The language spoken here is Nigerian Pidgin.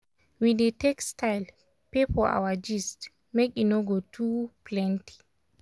we dey take style pay for our gist make e no go too plenty.